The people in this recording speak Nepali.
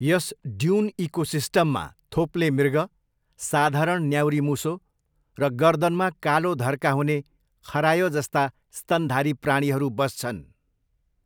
यस ड्युन इकोसिस्टममा थोप्ले मृग, साधारण न्याउरी मुसो र गर्दनमा कालो धर्का हुने खरायो जस्ता स्तनधारी प्राणीहरू बस्छन्।